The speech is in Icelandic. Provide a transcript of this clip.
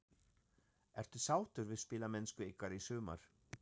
Ertu sáttur við spilamennsku ykkar í sumar?